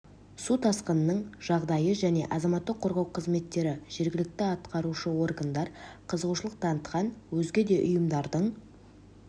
су тасқынының жағдайы және азаматтық қорғау қызметтері жергілікті атқарушы органдар қызығушылық танытқан өзге де ұйымдардың